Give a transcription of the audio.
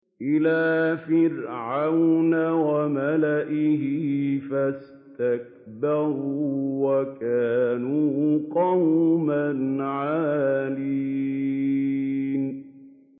إِلَىٰ فِرْعَوْنَ وَمَلَئِهِ فَاسْتَكْبَرُوا وَكَانُوا قَوْمًا عَالِينَ